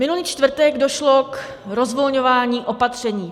Minulý čtvrtek došlo k rozvolňování opatření.